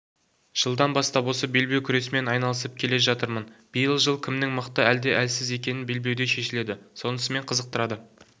жылдан бастап осы белбеу күресімен айналысып келе жатырмын биыл жыл кімнің мықты әлде әлсіз екені белбеуде шешіледі сонысымен қызықтырады